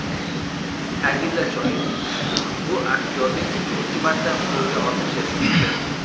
Ta’kidlash joiz, bu aktyorning uchinchi marta qo‘lga olinishidir.